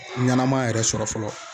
Ɲanama yɛrɛ sɔrɔ fɔlɔ